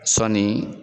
Sɔni